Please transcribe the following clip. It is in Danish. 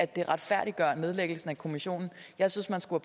det retfærdiggør nedlæggelsen af kommissionen jeg synes man skulle